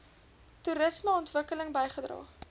toerisme ontwikkeling bygedra